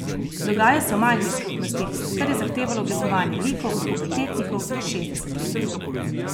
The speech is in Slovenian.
Dogaja se v majhni skupnosti, kar je zahtevalo oblikovanje likov od pubertetnikov do šestdesetletnikov.